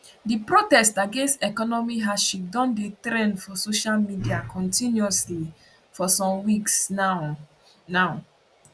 di protest against economic hardship don dey trend for social media continuously for some weeks now now